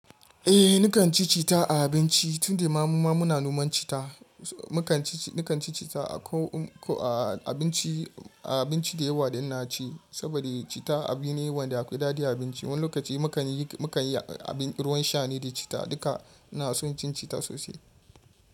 Eh ni kan ci cita a abinci tun da mama mu na noman cita. Ni kan ci cita a abinci da yawa da ina ci saboda cita abu ne wanda akwai daɗi a abinci. Wani lokaci mu kan yi ruwan shane da cita duka ina son cin cita sosai.